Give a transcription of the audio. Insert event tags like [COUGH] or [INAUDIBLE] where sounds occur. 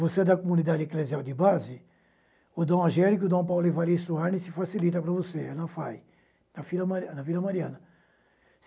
Você é da comunidade eclesial de base, o D. Angélico, D. Paulo Ervaristo [UNINTELLIGIBLE] facilita para você, é na FAI, na Vila Mari na Vila Mariana